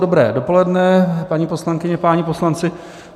Dobré dopoledne, paní poslankyně, páni poslanci.